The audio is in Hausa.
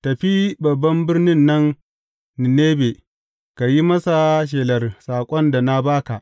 Tafi babban birnin nan Ninebe, ka yi masa shelar saƙon da na ba ka.